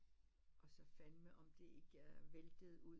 Og så fandme om det ikke væltede ud